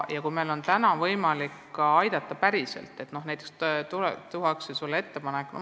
Kui meil on võimalik kedagi aidata, kui tehakse konkreetne ettepanek, siis tuleb seda teha.